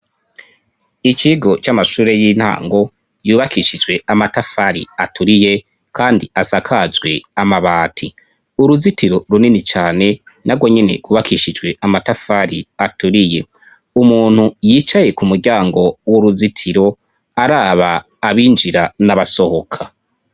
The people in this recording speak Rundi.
ikigo cy'amashure y'intango yubakishijwe amatafari aturiye kandi asakajwe amabati uruzitiro runini cyane nagonyene gubakishijwe amatafari aturiye umuntu yicaye ku muryango w'uruzitiro araba abinjira n'abasohoka